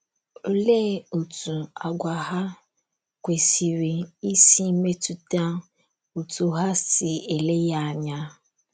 Olee otú àgwà ha kwesịrị isi metụta otú hà si ele ya anya?